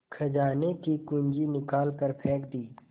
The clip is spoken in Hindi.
खजाने की कुन्जी निकाल कर फेंक दी